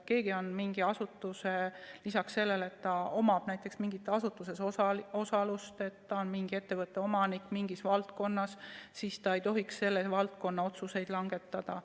Kui keegi näiteks omab mingis asutuses osalust või on mingis valdkonnas mingi ettevõtte omanik, siis ta ei tohiks selles valdkonnas otsuseid langetada.